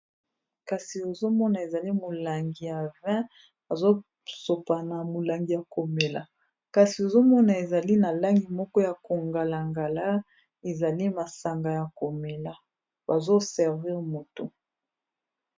kasi ozomona ezali molangi ya 20 azosopana molangi ya komela kasi ozomona ezali na langi moko ya kongala-ngala ezali masanga ya komela bazoservir moto